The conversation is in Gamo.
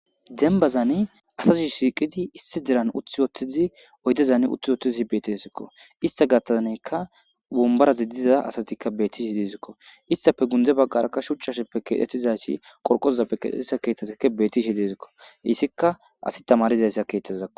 dembazani asazi shiqidi issi deran uti uttidi oydezani uthtiwotidi betisikko ista gaththazanikka wombarazi diza asatikka bettishe dizakko istafe gunde baggarakka shuchchappe kexetizaysi qorqozappe keexxettiza keeththazikka bettishi dizakko issikka asi tamarizayssa keeththazakko